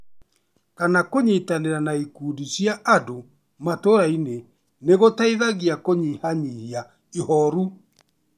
kana kũnyitanĩra na ikundi cia andũ matũũrainĩ, nĩ gũteithagia kũnyihanyihia ihooru.